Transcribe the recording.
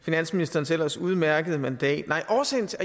finansministerens ellers udmærkede mandat